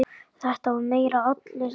Þetta var meira allir saman.